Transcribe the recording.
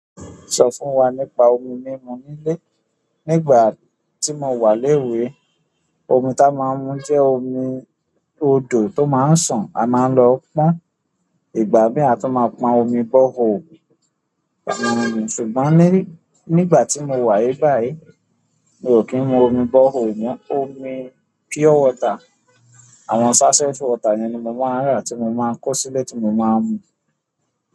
Sọ fún wa nípa omi mímu nílé. Ní ìgbà tí mo wà léwe, omi tá a máa ń mu jẹ́ omi odò tó máa ń sàn. A máa ń lọ pọn. Ìgbà mìíràn a tun máa ń pọn omi borehole. Ṣùgbọ́n ní nígbà tí mo wà níbàyí, mi ò kí ń mu omi borehole mọ. Omi pure water, àwọn sachet water ni mi máa ń rà tí mo máa ń kó sílé tí mo máa ń mu.